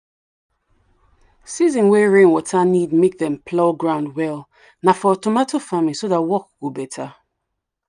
season way rainwater need make dem plough ground well nah for tomato farming so that work go better.